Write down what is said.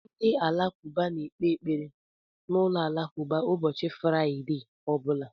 Ndị Alakụba na-ekpe ekpere na ụlọ alakụba ụbọchị Fraịde ọ bụla